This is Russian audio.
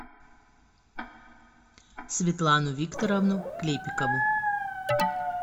светлану викторовну клепикову